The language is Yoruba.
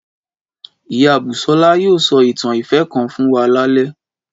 Ìyá Bùsọ́lá yóò sọ ìtàn ìfẹ́ kan fún wa lálẹ́